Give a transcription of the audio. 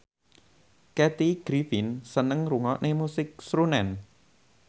Kathy Griffin seneng ngrungokne musik srunen